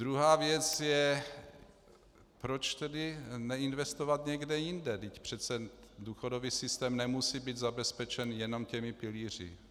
Druhá věc je, proč tedy neinvestovat někde jinde, vždyť přece důchodový systém nemusí být zabezpečen jenom těmi pilíři.